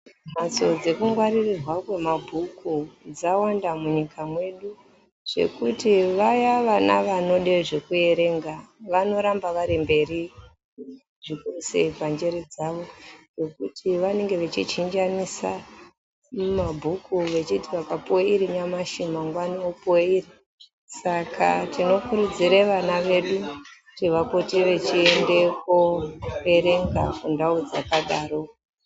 Mbatso dzeku ngwaririrwa kwe mabhuku dzawanda mu nyika mwedu zvekuti vaya vana vanode zveku erenga vanoramba vari mberi zvikuru sei pa njere dzavo nekuti vanenge vechi chinjanisa mabhuku vechiti vakapuwa iri nyamashi mangwani opuwe iri saka tino kurudzire vana vedu kuti vapote vechi ende ko erenga ku ndau dzaka daro.